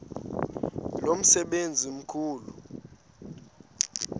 lo msebenzi mkhulu